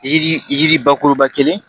Yiri yiri bakuruba kelen